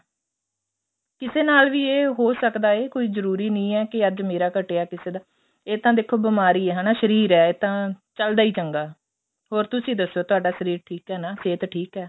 ਕਿਸੇ ਨਾਲ ਵੀ ਇਹ ਹੋ ਸਕਦਾ ਏ ਕੋਈ ਜਰੂਰੀ ਨਹੀਂ ਏ ਕਿ ਅੱਜ ਮੇਰਾ ਘੱਟਿਆ ਕਿਸੇ ਦਾ ਇਹ ਤਾਂ ਦੇਖੋ ਬੀਮਾਰੀ ਏ ਸ਼ਰੀਰ ਏ ਇਹ ਤਾਂ ਚੱਲਦਾ ਈ ਚੰਗਾ ਹ਼ੋਰ ਤੁਸੀਂ ਦੱਸੋ ਤੁਹਾਡਾ ਸ਼ਰੀਰ ਠੀਕ ਏ ਨਾ ਸਿਹਤ ਠੀਕ ਏ